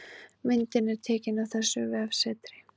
Myndin er tekin af þessu vefsetri